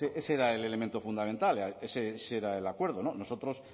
ese era el elemento fundamental ese era el acuerdo nosotros